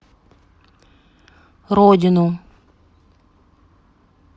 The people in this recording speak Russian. родину